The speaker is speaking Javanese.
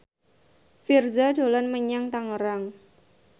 Virzha dolan menyang Tangerang